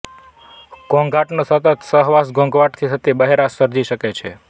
ઘોંઘાટનો સતત સહવાસ ઘોંઘાટથી થતી બહેરાશ સર્જી શકે છે